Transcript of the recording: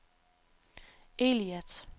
Eilat